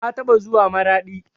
Na taɓa zuwa maraɗi